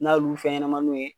N'a y'olu fɛn ɲɛnamaninw ye